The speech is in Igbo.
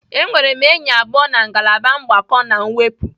Enwere m enyi abụọ na ngalaba mgbakọ na mwepụ.